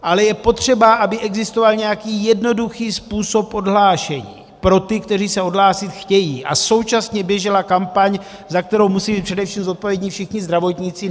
Ale je potřeba, aby existoval nějaký jednoduchý způsob odhlášení pro ty, kteří se odhlásit chtějí, a současně běžela kampaň, za kterou musejí být především zodpovědní všichni zdravotníci.